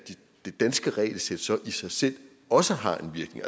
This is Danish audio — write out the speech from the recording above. det danske regelsæt så i sig selv også har en virkning